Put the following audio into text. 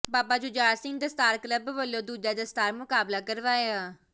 ਬਾਬਾ Jujhar Singh Dastar club ਵਲੋਂ ਦੂਜਾ ਦਸਤਾਰ ਮੁਕਾਬਲਾ ਕਰਵਾਇਆ